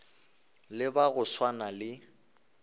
le ba go swana le